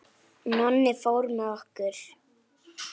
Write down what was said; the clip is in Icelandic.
Nonni fór með okkur.